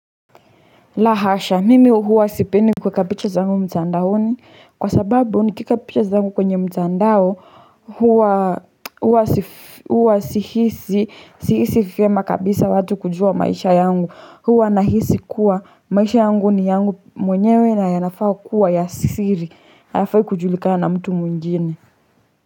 La hasha mimi huwa sipendi kuweka picha zangu mtandaoni kwa sababu nikieka picha zangu kwenye mtandao huwa huwa sihisi sihisi vyema kabisa watu kujua maisha yangu. Huwa nahisi kuwa maisha yangu ni yangu mwenyewe na yanafaa kuwa ya siri. Hayafai kujulikana na mtu mwingine.